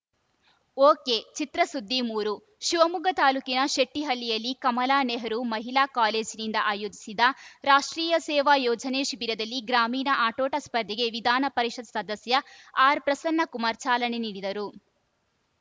ಒಕೆಚಿತ್ರಸುದ್ದಿ ಮೂರು ಶಿವಮೊಗ್ಗ ತಾಲೂಕಿನ ಶೆಟ್ಟಿಹಳ್ಳಿಯಲ್ಲಿ ಕಮಲಾ ನೆಹರು ಮಹಿಳಾ ಕಾಲೇಜಿನಿಂದ ಆಯೋಜಿಸಿದ್ದ ರಾಷ್ಟ್ರೀಯ ಸೇವಾ ಯೋಜನೆ ಶಿಬಿರದಲ್ಲಿ ಗ್ರಾಮೀಣ ಆಟೋಟ ಸ್ಪರ್ಧೆಗೆ ವಿಧಾನಪರಿಷತ್‌ ಸದಸ್ಯ ಆರ್‌ಪ್ರಸನ್ನಕುಮಾರ್‌ ಚಾಲನೆ ನೀಡಿದರು